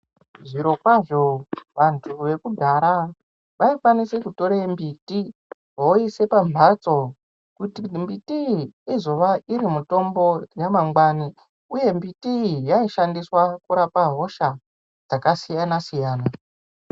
Zvirokwazvo vantu vekudhara vaikwanise kutore mbiti voiise pamhatso kuti mbiti iyi izova iri mitombo yemangwani, uye mbiti iyi yaishandiswe kurapa hosha dzakasiyana-siyana.